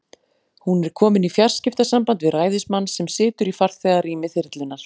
Hún er komin í fjarskiptasamband við ræðismann, sem situr í farþegarými þyrlunnar.